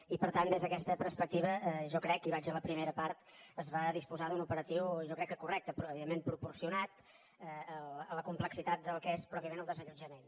i per tant des d’aquesta perspectiva jo crec i vaig a la primera part que es va disposar d’un operatiu jo crec que correcte però evidentment proporcionat a la complexitat del que és pròpiament el desallotjament